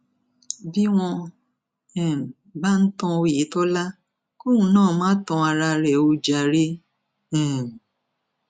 bí wọn um bá ń tan ọyẹtọlá kóun náà má tan ara rẹ o jàre um